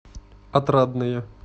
отрадное